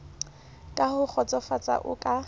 ka ho kgotsofatsa o ka